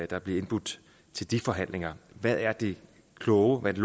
der bliver indbudt til de forhandlinger hvad er det kloge hvad